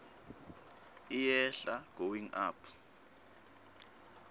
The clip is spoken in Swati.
iyehla going up